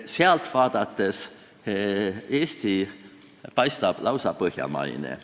Sealt vaadates paistab Eesti lausa põhjamaise riigina.